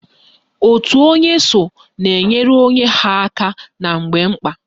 Òtù onye so na-enyere onwe ha aka na mgbe mkpa